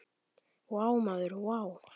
Vá maður vá!